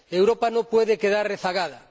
Europa no puede quedar rezagada.